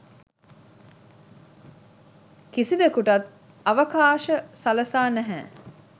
කිසිවකුටත් අවකාශ සලසා නැහැ